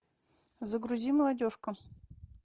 загрузи молодежка